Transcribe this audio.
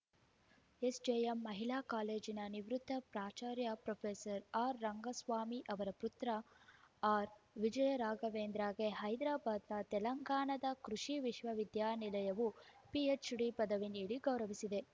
SJM ಮಹಿಳಾ ಕಾಲೇಜಿನ ನಿವೃತ್ತ ಪ್ರಾಚಾರ್ಯ ಪ್ರೊಫೆಸರ್ ಆರ್‌ ರಂಗಸ್ವಾಮಿ ಅವರ ಪುತ್ರ ಅರ್‌ವಿಜಯ ರಾಘವೇಂದ್ರಗೆ ಹೈದರಾಬಾದ್‌ನ ತೆಲಂಗಾಣದ ಕೃಷಿ ವಿಶ್ವ ವಿದ್ಯಾನಿಲಯವು ಪಿಎಚ್‌ಡಿ ಪದವಿ ನೀಡಿ ಗೌರವಿಸಿದೆ